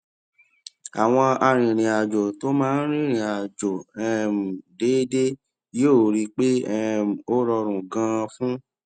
àwọn arìnrìnàjò tó máa ń rìnrìn àjò um déédéé yóò rí i pé um ó rọrùn ganan fún